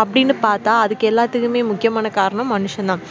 அப்புடின்னு பாத்தா அதுக்கு எல்லாத்துக்குமே முக்கியமான காரணம் மனுஷன் தான்